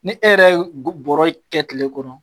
Ni e yɛrɛ ye go bɔra kɛ kile kɔnɔ